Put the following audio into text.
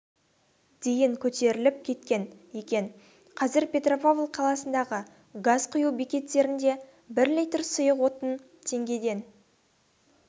дейін көтеріліп кеткен екен қазір петропавл қаласындағы газ құю бекеттерінде бір литр сұйық отын теңгеден